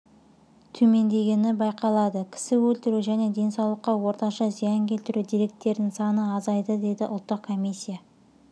төмендегені байқалады кісі өлтіру және денсаулыққа орташа зиян келтіру деректерінің саны азайды деді ұлттық комиссия